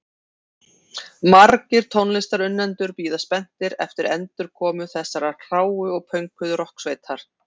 Margir tónlistarunnendur bíða spenntir eftir endurkomu þessarar hráu og pönkuðu rokksveitar.